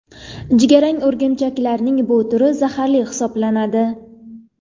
Jigarrang o‘rgimchaklarning bu turi zaharli hisoblanadi.